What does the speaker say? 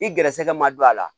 I gɛrɛsɛgɛ ma don a la